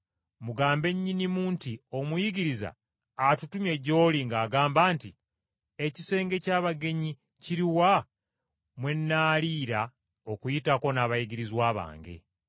mugambe nnyinimu nti, ‘Omuyigiriza atutumye gy’oli ng’agamba nti: Ekisenge ky’abagenyi kiruwa mwe nnaaliira Okuyitako n’abayigirizwa bange?’